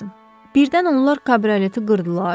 Birdən onlar kabroleti qırdılar.